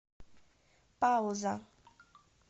пауза